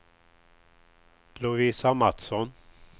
Lovisa Matsson